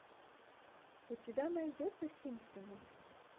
у тебя найдется симпсоны